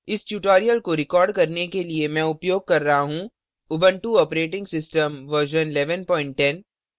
इस tutorial को record करने के लिए मैं उपयोग कर रहा हूँ उबंटू operating system version 1110